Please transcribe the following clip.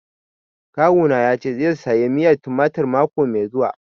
Kawu na ya ce zai saya miyar tumatir mako mai zuwa